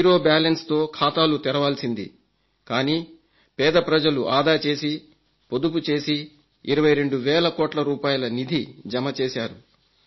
zero balance తో ఖాతాలు తెరవాల్సింది కానీ పేద ప్రజలు ఆదా చేసి పొదుపు చేసి 22 వేల కోట్ల రూపాయల నిధి జమ చేశారు